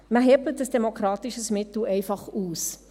Man hebelt ein demokratisches Mittel einfach aus.